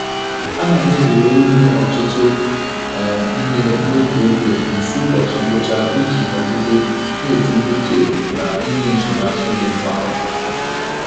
A na m ezere ime ọtụtụ um ihe n'otu oge nso ụbọchị ngwụcha iji nọgide na-etinye uche na ịnye nsonaazụ dị mma.